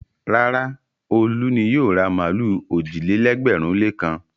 Rárá, Olú ni yóò ra màlúù òjì-lẹ́gbẹ̀rún-lékan.